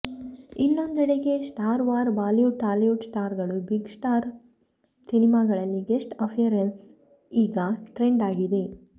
ಇನ್ನೊಂದ್ಕಡೆ star war Bollywood Tollywood star ಗಳು big star ಸಿನಿಮಾಗಳಲ್ಲಿ guest appearance ಈಗ ಟ್ರೆಂಡ್ ಆಗಿದೆ